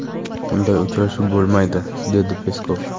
Bunday uchrashuv bo‘lmaydi”, dedi Peskov.